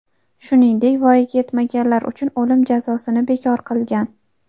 shuningdek voyaga yetmaganlar uchun o‘lim jazosini bekor qilgan.